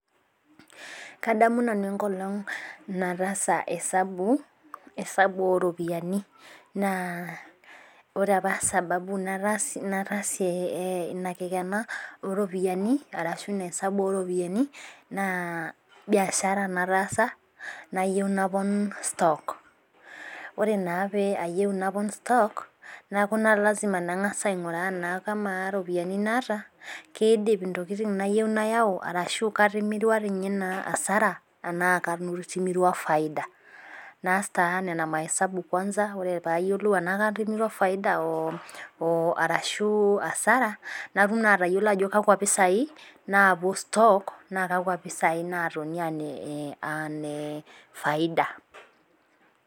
Kadamu nanu enkolong naitaasa esambu oropiyiani .Naa ore apa sababu nataase ina kikena ooropiyiani arashu esambu oropiyiani naa biashara nataasa nayieu naponu stock. Ore naa pee eyeu napon stokc, neeku naa lasima nangas ainguraa kama ropiyiani naata keidim ntokiting nayieu nayau tenaa katimirua doi ninye asara tenaa katimirua faida. Naas taa Nena maisabu kwansa ore poee ayiolou tenaa katimirua faida ashu asara natum naa atayiolo ajo kakwa pisai napuo stock, naa kakwa pisai naatonita aa nefaida.